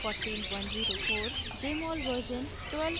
jmol version 12232